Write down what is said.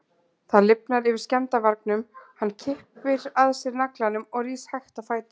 Það lifnar yfir skemmdarvargnum, hann kippir að sér naglanum og rís hægt á fætur.